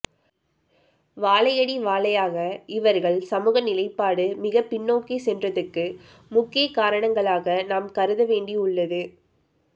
வாழையடி வாழையாக இவர்கள் சமூக நிலைப்பாடு மிகப்பின்னோக்கி சென்றதுக்கு முக்கிய காரணங்களாக நாம் கருத வேண்டிஉள்ளது